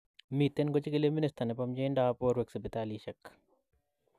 Miten kochigili minister nepo myeindap porwek sipitalishek